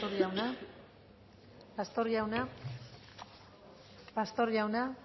pastor jauna